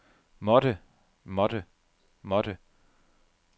måtte måtte måtte